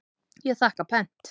Ég þakka pent.